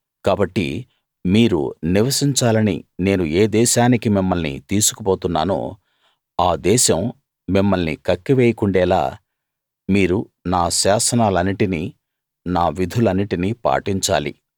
కాబట్టి మీరు నివసించాలని నేను ఏ దేశానికి మిమ్మల్ని తీసుకు పోతున్నానో ఆ దేశం మిమ్మల్ని కక్కివేయకుండేలా మీరు నా శాసనాలన్నిటిని నా విధులన్నిటిని పాటించాలి